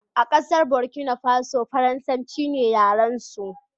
a kasar Burkina Faso, farasanci ne yaransu